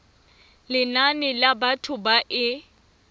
lenane la batho ba e